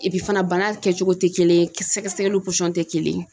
fana kɛcogo tɛ kelen ye sɛgɛsɛgɛliw tɛ kelen ye.